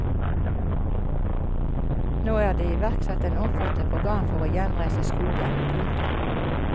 Nå er det iverksatt et omfattende program for å gjenreise skogen. punktum